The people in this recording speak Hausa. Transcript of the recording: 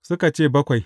Suka ce, Bakwai.